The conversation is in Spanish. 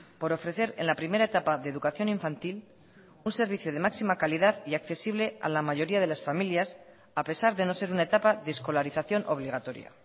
por ofrecer en la primera etapa de educación infantil un servicio de máxima calidad y accesible a la mayoría de las familias a pesar de no ser una etapa de escolarización obligatoria